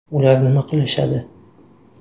Ular nima qilishadi?